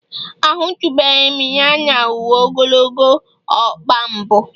Ahụtụbeghị m ya na uwe ogologo ọkpa mbụ